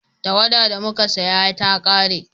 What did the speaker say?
tawada da muka saya ta kare